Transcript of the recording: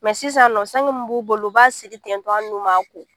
sisan nɔ sange min b'u bolo u b'a siri ten tɔ hali n'u m'a ko